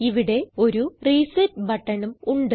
ഇവിടെ ഒരു റിസെറ്റ് ബട്ടണും ഉണ്ട്